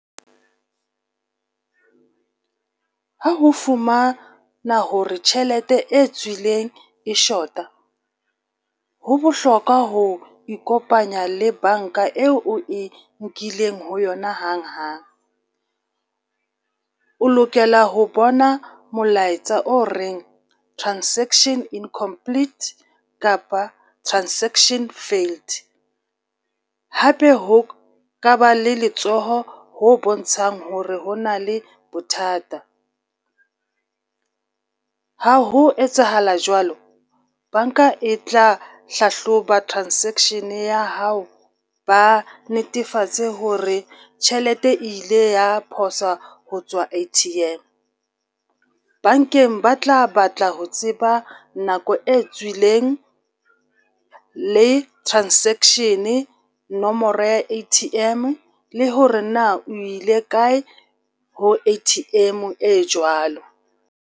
Ha ho fumana hore tjhelete e tswileng e short-a ho bohlokwa ho ikopanya le banka eo o e nkileng ho yona hang hang. O lokela ho bona molaetsa o reng transaction incomplete kapa transaction failed. Hape ho ka ba le letsoho ho bontshang ho re ho na le bothata. Ha ho etsahala jwalo, banka e tla hlahloba transaction ya hao ba netefatse hore tjhelete e ile ya phoswa ho tswa A_T_M. Bankeng ba tla batla ho tseba nako e tswileng le transaction, nomoro ya A_T_M, le hore na o ile kae ho A_T_M e jwalo.